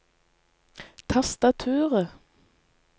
tastaturet